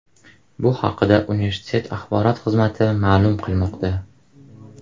Bu haqda universitet axborot xizmati ma’lum qilmoqda.